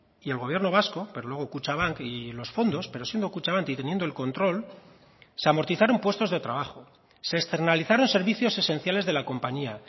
y el gobierno vasco pero luego kutxabank y los fondos pero siendo kutxabank y teniendo el control se amortizaron puestos de trabajo se externalizaron servicios esenciales de la compañía